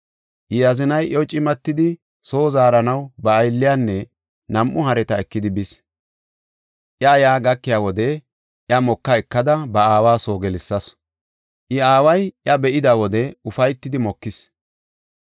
I azinay iyo cimatidi soo zaaranaw ba aylliyanne nam7u hareta ekidi bis. I yaa gakiya wode iya moka ekada ba aawa soo gelsasu; I aaway iya be7ida wode ufaytidi mokis.